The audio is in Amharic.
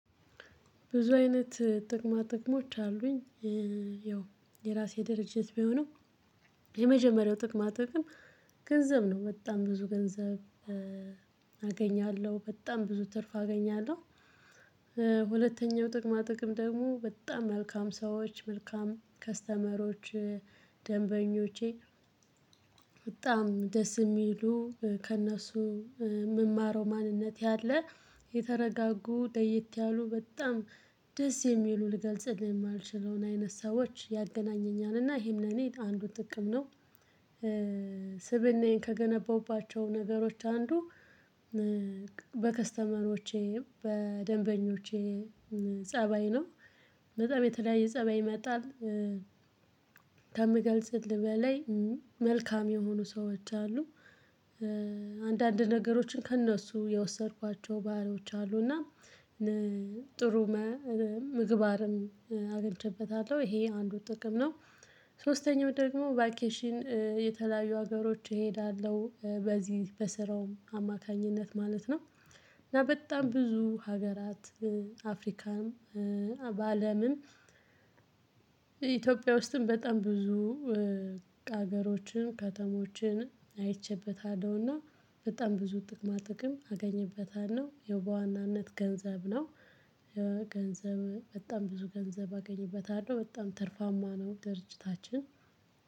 ብዙ አይነት ጥቅማ ጥቅሞች አሉኝ። ያው የራሴ ድርጅት ቢሆንም ጥቅም ግን ገንዘብ ነው በጣም ብዙ ገንዘብ አገኛለሁ በጣም ብዙ ትርፍ አገኛለሁ። ሁለተኛው ጥቅማ ጥቅም ደግሞ በጣም መልካም ሰዎች መልካም ከስተመሮች ደንበኞቼ በጣም ደስ የሚሉ ከእነሱ የምማረው ማንነት ያለ የተረጋጉ ለየት ያሉ በጣም ደስ የሚሉ ልገልጽልህ የማልችለውን አይነት ሰዎች ያገናኘኛል እና ይሄን እኔ አንዱ ጥቅም ነው። ስብእናዬን ከገነባሁባቸው ነገሮች አንዱ በከስተመሮቼ በደንበኞቼ ፀባይ ነው በጣም የተለያየ ፀባይ ይመጣል። ከምገልጽልህ በላይ መልካም የሆኑ ሰዎች አሉ። አንዳንድ ነገሮችን ከእነሱ የወሰድኳቸው ባህሎች አሉ እና ጥሩ ምግባርን አገኝቼበታለሁ ይሄ አንዱ ጥቅም ነው። ሶስተኛው ደግሞ ቫኬሽን የተለያዩ ሀገሮች እሄዳለሁ በዚህ በስራውም አማካኝነት ማለት ነው። እና በጣም ብዙ ሀገራት አፍሪካም በአለምም ኢትዮጵያ ውስጥም በጣም ብዙ ሀገሮችን ከተሞችን አይቼበታለው። በጣም ብዙ ጥቅማ ጥቅም አገኝበታል ነው የውበዋናነት ገንዘብ ነው። ገንዘብ በጣም ብዙ ገንዘብ አገኝበታለሁ በጣም ትርፋማ ነው ድርጅታችን